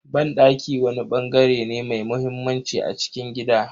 Banɗaki wani bangare ne mai muhimmanci a cikin gida.